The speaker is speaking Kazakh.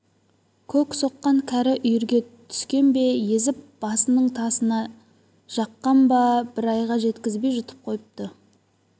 көк соққан кәрі үйірге түскен бе езіп басының тазына жаққан ба бір айға жеткізбей жұтып қойыпты